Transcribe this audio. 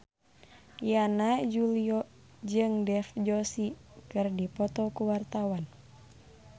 Yana Julio jeung Dev Joshi keur dipoto ku wartawan